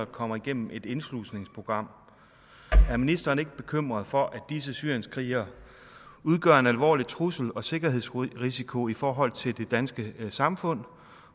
kommer igennem et indslusningsprogram er ministeren ikke bekymret for at disse syrienskrigere udgør en alvorlig trussel og sikkerhedsrisiko i forhold til det danske samfund